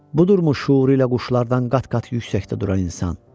Budurmuş şüur ilə quşlardan qat-qat yüksəkdə duran insan.